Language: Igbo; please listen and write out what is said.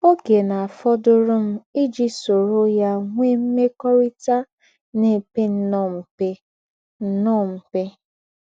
Ò́gè ná-àfòdùrù m íjí sóró ya nweè m̀mekọ́rị́tà ná-èpè ǹnọ̀ọ́ m̀pè. ǹnọ̀ọ́ m̀pè.